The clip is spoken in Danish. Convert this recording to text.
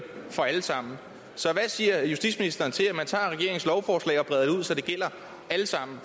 for alle sammen så hvad siger justitsministeren til at man tager regeringens lovforslag og breder så det gælder alle sammen